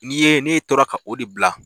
N'i ye ne tora ka o de bila.